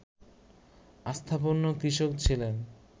অবস্থাপন্ন কৃষক ছিলেন